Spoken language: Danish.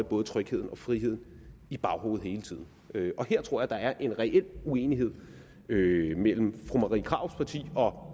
både trygheden og friheden i baghovedet hele tiden og her tror jeg at der er en reel uenighed mellem mellem fru marie krarups parti og